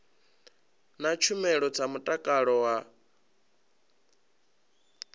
na tshumelo dza mutakalo wa